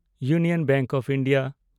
union Bank of India